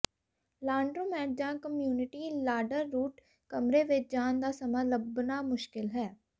laundromat ਜਾਂ community ਲਾਡਰਰੂਟ ਕਮਰੇ ਵਿੱਚ ਜਾਣ ਦਾ ਸਮਾਂ ਲੱਭਣਾ ਮੁਸ਼ਕਿਲ ਹੈ